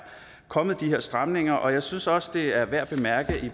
kommet de her stramninger jeg synes også det er værd at bemærke